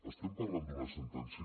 estem parlant d’una sentència